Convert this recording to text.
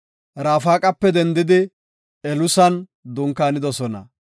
Rafaqape dendidi Elusan dunkaanidosona.